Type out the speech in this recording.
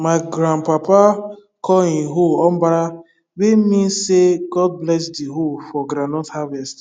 ma grand papa call him hoe obara wey mean say god bless the hoe for groundnut harvest